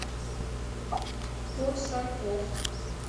корсаков